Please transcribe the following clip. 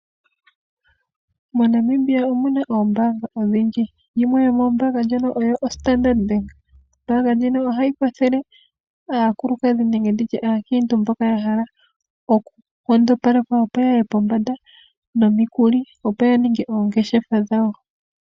MoNamibia omu na oombaanga odhindji yimwe yomoombaanga ndhono oyo oStandardBank. Ombaanga ndjino ohayi kwathele aakulukadhi nenge ndi tye aakiintu mboka ya hala okunkondopalekwa opo yaye pombanda nomikuli opo ya ninge oongeshefa dhawo.